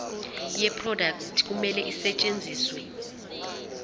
yeproduct kumele isetshenziswe